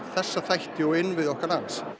þessa þætti og innviði okkar lands